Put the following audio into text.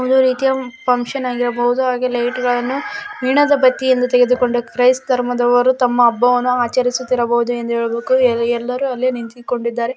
ಒಂದು ರೀತಿಯ ಫಂಕ್ಷನ್‌ ಆಗಿರಬಹುದು ಹಾಗೆ ಲೈಟ್ಗಳನ್ನು ಮೇಣದ ಬತ್ತಿಯನ್ನು ತೆಗೆದುಕೊಂಡು ಕ್ರೈಸ್ತ್‌ ಧರ್ಮದವರು ತಮ್ಮ ಹಬ್ಬವನ್ನು ಆಚರಿಸುತ್ತಿರಬಹುದು ಎಂದು ಏಳಬೇಕು ಎಲ್ ಎಲ್ಲರೂ ಅಲ್ಲೇ ನಿಂತುಕೊಂಡಿದ್ದಾರೆ